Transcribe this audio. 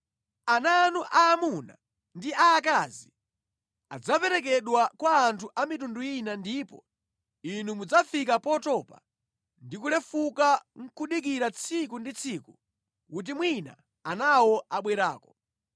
Ana anu aamuna ndi aakazi adzaperekedwa kwa anthu a mitundu ina ndipo inu mudzafika potopa ndi kulefuka nʼkudikirira tsiku ndi tsiku kuti mwina anawo abwerako.